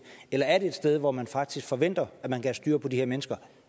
eller er det et sted hvor man faktisk forventer at man kan have styr på de her mennesker